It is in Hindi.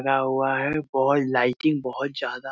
भरा हुआ है बॉल लाइटिंग बहुत ज्यादा --